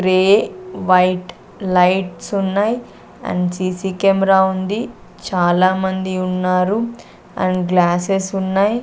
Grey white lights ఉన్నాయ్ and CC camera ఉంది చాలామంది ఉన్నారు అండ్ గ్లాసెస్ ఉన్నాయి.